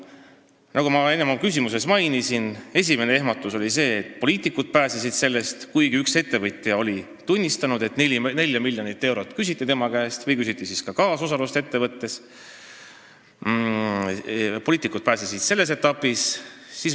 Nagu ma enne oma küsimuses mainisin, esimene ehmatus oli see, et poliitikud pääsesid vastutusest, kuigi üks ettevõtja oli tunnistanud, et tema käest küsiti 4 miljonit eurot või küsiti kaasosalust ettevõttes, poliitikud selles etapis pääsesid.